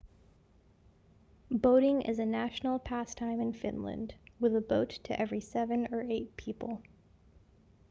boating is a national pastime in finland with a boat to every seven or eight people